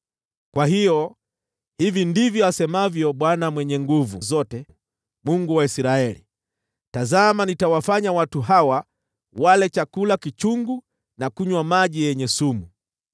Kwa hiyo, hivi ndivyo asemavyo Bwana Mwenye Nguvu Zote, Mungu wa Israeli: “Tazama, nitawafanya watu hawa wale chakula kichungu na kunywa maji yenye sumu.